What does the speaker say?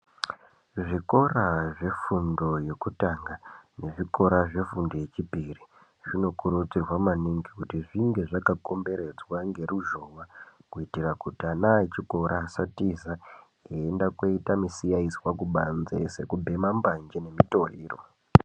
Zvikora zvefundo yekutanga nezvikora zvefundo yachipiri, zvinokuridzirwa maningi kuti zvinge zvakakomberedzwa ngeruzhowa, kuitira kuti vana vechikora vasatiza veienda kundoita musiyaswa kubanze , sekubhema mbanje mutoriro.